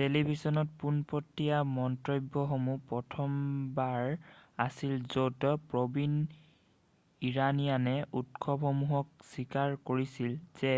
টেলিভিছনত পোনপটিয়া মন্তব্যসমূহ প্ৰথমবাৰ আছিল যত প্ৰবীণ ইৰাণীয়ানে উৎসসমূহক স্বীকাৰ কৰিছিল যে